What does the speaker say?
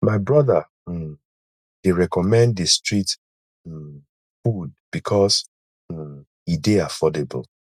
my brother um dey recommend di street um food because um e dey affordable